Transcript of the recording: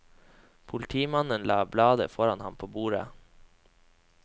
Politimannen la bladet foran ham på bordet.